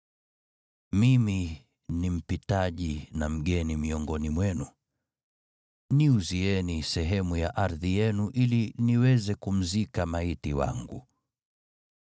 “Mimi ni mpitaji na mgeni miongoni mwenu. Niuzieni sehemu ya ardhi yenu ili niweze kumzika maiti wangu.”